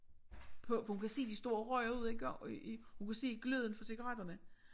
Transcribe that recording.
På for hun kan se de står og ryger ude i gård i i hun kan se gløden fra cigaretterne